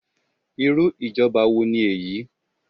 Irú ìjọba wo ni èyí?